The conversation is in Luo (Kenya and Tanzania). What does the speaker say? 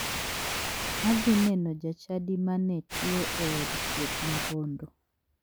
Adhi neno jachadi ma ne tuo e od thieth ma bondo.